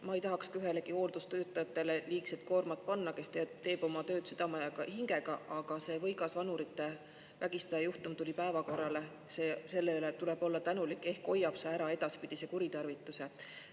Ma ei tahaks liigset koormat panna ühelegi hooldustöötajale, kes teeb oma tööd südame ja hingega, aga see võigas vanurite vägistaja juhtum tuli päevakorrale ja selle üle tuleb olla tänulik, sest ehk hoiab see ära edaspidised kuritarvitused.